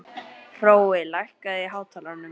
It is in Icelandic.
Hrói, lækkaðu í hátalaranum.